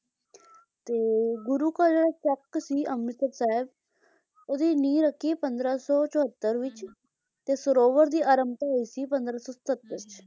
ਤੇ ਗੁਰੂ ਕਾ ਚੱਕ ਸੀ ਅੰਮ੍ਰਿਤਸਰ ਸਾਹਿਬ ਉਹਦੀ ਨੀਂਹ ਰੱਖੀ ਪੰਦਰਾਂ ਸੌ ਚਹੌਤਰ ਤੇ ਸਰੋਵਰ ਦੀ ਅਰੰਭਤਾ ਹੋਈ ਸੀ ਪੰਦਰਾਂ ਸੌ ਸਤੱਤਰ ਚ